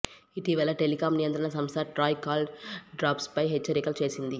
ఇటీవల టెలికామ్ నియంత్రణ సంస్థ ట్రాయ్ కాల్ డ్రాప్స్పై హెచ్చరికలు చేసింది